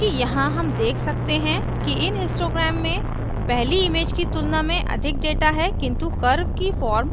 चूँकि यहाँ हम देख सकते हैं कि इन histogram में पहली इमेज की तुलना में अधिक data है किन्तु curve की form